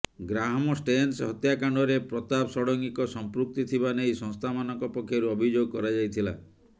Graham Staines ହତ୍ୟାକାଣ୍ଡରେ ପ୍ରତାପ ଷଡ଼ଙ୍ଗୀଙ୍କ ସଂପୃକ୍ତି ଥିବା ନେଇ ସଂସ୍ଥାମାନଙ୍କ ପକ୍ଷରୁ ଅଭିଯୋଗ କରାଯାଇଥିଲା